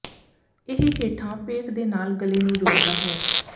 ਇਹ ਹੇਠਾਂ ਪੇਟ ਦੇ ਨਾਲ ਗਲੇ ਨੂੰ ਜੋੜਦਾ ਹੈ